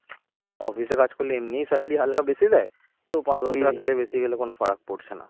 office এ কাজ করলে এমনি salary হালকা বেশি দেয় তো পাঁচ দশ টাকা তাহলে বেশি গেলে কোন ফারাক পড়ছে না